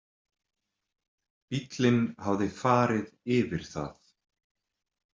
Bíllinn hafði farið yfir það.